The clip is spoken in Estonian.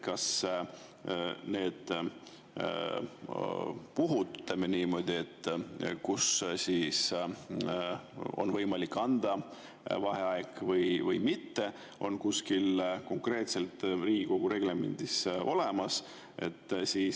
Kas need, ütleme niimoodi, kui on võimalik anda vaheaega või mitte, on konkreetselt kuskil Riigikogu reglemendis olemas?